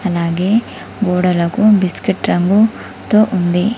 అలాగే గోడలకు బిస్కెట్ రంగు తో ఉంది.